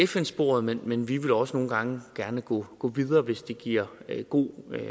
fn sporet men vi vil også gerne nogle gange gå videre hvis det giver god